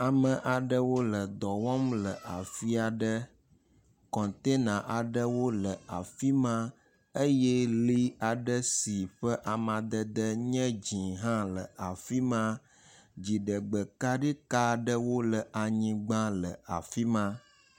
Ame aɖewo le dɔ wɔm le afi aɖe. kɔntena aɖewo le afi ma eye li aɖe si ƒe amadede nye dzi hã le afi ma. Dziɖegbekaɖi ka aɖwo le anyigba le afi ma.